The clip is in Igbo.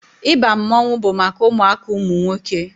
Ịba mmanwụ bụ maka ụmụaka ụmụ nwoke